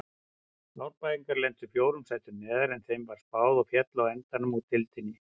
Árbæingar lentu fjórum sætum neðar en þeim var spáð og féllu á endanum úr deildinni.